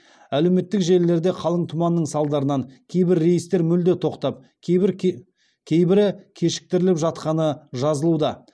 әлеуметтік желілерде қалың тұманның салдарынан кейбір рейстер мүлде тоқтап кейбірі кешіктіріліп жатқаны жазылуда